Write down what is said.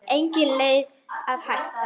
Engin leið að hætta.